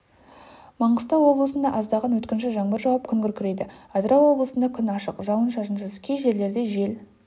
маңғыстау облысында аздаған өткінші жаңбыр жауып күн күркірейді атырау облысында күн ашық жауын-шашынсыз кей жерлерде жел